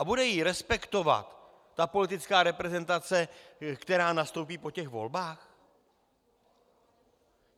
A bude ji respektovat ta politická reprezentace, která nastoupí po těch volbách?